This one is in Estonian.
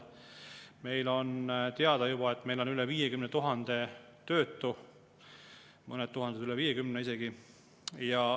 Meil on teada juba, et meil on üle 50 000 töötu, mõned tuhanded üle isegi.